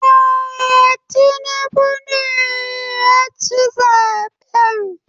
Eh, Tinubu ne yaci zaben